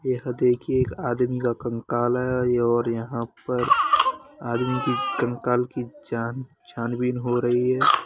यह देखिये एक आदमी का कंकाल आया है और यहाँ पर आदमी की कंकाल की जान छान-बीन हो रही है। ।